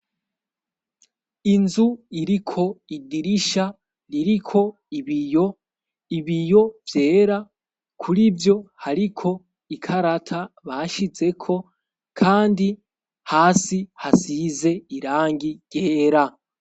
Inzu iriko idirisha ririko ibiyo, Ibiyo vyera kurivyo hariko ikarata bashyizeko kandi hasi hasize irangi ryera.